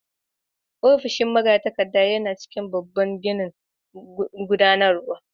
Ofishin magatakarda yana cikin babban ginin gudanarwa.